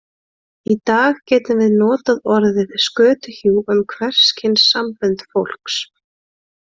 Í dag getum við notað orðið skötuhjú um hvers kyns sambönd fólks.